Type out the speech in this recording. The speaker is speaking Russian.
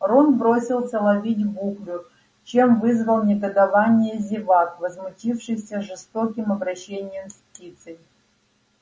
рон бросился ловить буклю чем вызвал негодование зевак возмутившихся жестоким обращением с птицей